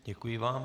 Děkuji vám.